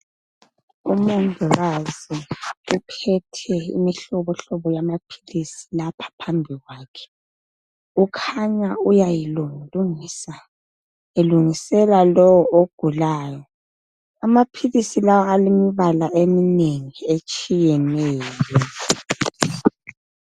Umongikazi uphethe imihlobohlobo yamaphilisi lapha phambi kwakhe ukhanya uyayilungilungisa elungisela lowo ogulayo. Amaphilisi lawa alemibala eminengi etshiyeneyo.